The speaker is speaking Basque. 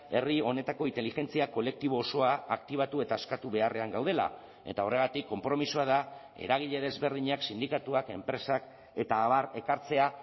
herri honetako inteligentzia kolektibo osoa aktibatu eta eskatu beharrean gaudela eta horregatik konpromisoa da eragile desberdinak sindikatuak enpresak eta abar ekartzea